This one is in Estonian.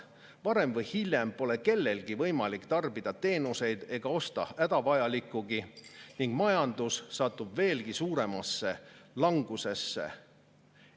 Varem või hiljem pole kellelgi võimalik tarbida teenuseid ega osta hädavajalikkugi ning majandus satub veelgi suuremasse langusesse.